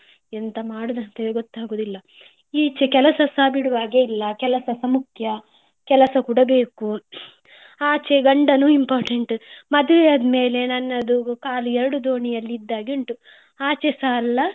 ಎಂತ ಮಾಡುದು ಅಂತ ಹೇಳಿ ಗೊತ್ತಾಗುದಿಲ್ಲ. ಈಚೆ ಕೆಲಸಸಾ ಬಿಡುವ ಹಾಗೆ ಇಲ್ಲ ಅದು ಮುಖ್ಯ ಕೆಲಸಸ ಕೂಡ ಬೇಕು. ಆಚೆ ಗಂಡನು important ಮದುವೆ ಆದ್ಮೇಲೆ ನನ್ನ ಕಾಲು ಎರಡು ದೋಣಿಯಲ್ಲಿ ಇಟ್ಟ ಹಾಗೆ ಉಂಟು ಆಚೆಸ ಅಲ್ಲ.